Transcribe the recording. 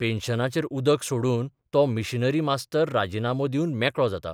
पेन्शनाचेर उदक सोडून तो मिशनरी मास्तर राजिनामो दिवन मेकळो जाता....